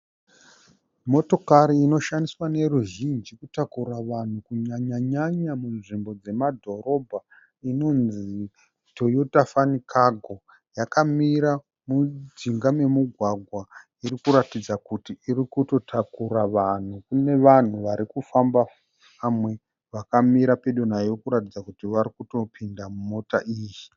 Motokari inoshandiswa neruzhinji kutakura vanhu kunyanyanyanya munzvimbo dzemadhorohba inonzi "toyota fan cargo" yakamira mujinga memugwagwa irikuratidza kuti iri kutotakura vanhu, kune vanhu vari kufamba, vamwe vakamira pedo nayo kuratidza kuti varikutopinda mumota iyi.